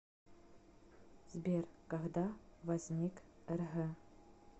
сбер когда возник рг